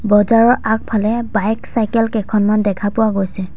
বজাৰৰ আগফালে bike cycle কেইখনমান দেখা পোৱা গৈছে।